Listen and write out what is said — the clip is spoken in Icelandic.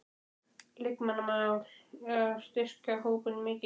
Leikmannamál, á að styrkja hópinn mikið?